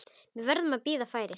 Við verðum að bíða færis.